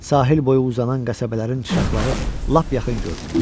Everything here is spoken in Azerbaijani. Sahil boyu uzanan qəsəbələrin çıraqları lap yaxın görünürdü.